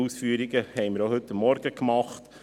Die Ausführungen dazu haben wir heute Morgen gemacht.